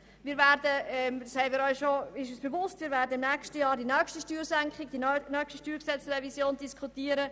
Wir werden im nächsten Jahr über die nächste StG-Revision diskutieren.